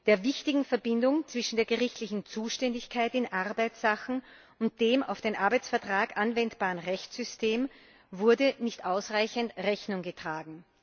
Der wichtigen Verbindung zwischen der gerichtlichen Zuständigkeit in Arbeitsachen und dem auf den Arbeitsvertrag anwendbarem Rechtssystem wurde nicht ausreichend Rechnung getragen.